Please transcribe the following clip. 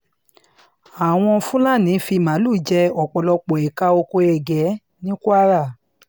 àwọn fúlàní fi màálùú jẹ́ ọ̀pọ̀lọpọ̀ éékà oko ègé ní kwara